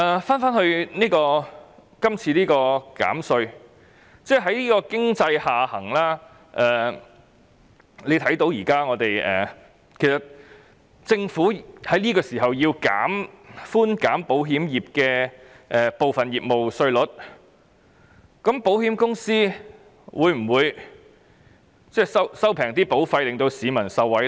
關於這項有關減稅的條例，在經濟下行的情況下，政府現在建議寬減保險業部分業務稅率，保險公司在這方面得益後，會否將保費下調讓市民受惠？